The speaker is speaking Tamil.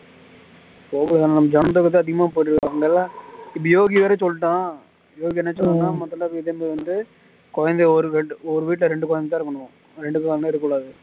யோகி வேற சொல்லிட்டான் யோகி என்ன சொன்னான் மொதல்ல வீட்டுல வந்து குழந்தை ஒரு வீட் ஒரு வீட்ல ரெண்டு குழந்த தான் இருக்கன்னு ரெண்டுக்கு மேல இருக்க கூடாது